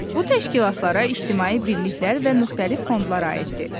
Bu təşkilatlara ictimai birliklər və müxtəlif fondlar aiddir.